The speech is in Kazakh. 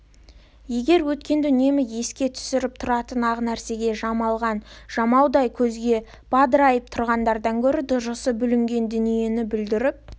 егер өткенді үнемі еске түсіріп тұратын ақ нәрсеге жамалған жамаудай көзге бадырайып тұрғаннан гөрі дұрысы бүлінген дүниені бүлдіріп